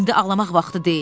İndi ağlamaq vaxtı deyil.